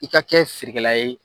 I ka kɛ sirikɛla ye.